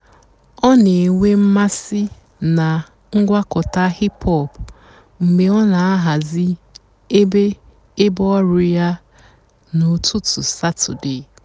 ọ́ nà-ènwé m̀másị́ nà ǹgwàkọ̀tá hìp-hòp mg̀bé ọ́ nà-àhàzị́ èbé èbé ọ̀rụ́ yá n'ụ́tụtụ́ sàtọ́dé.